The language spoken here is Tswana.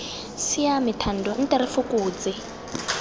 siame thando nte re fokotse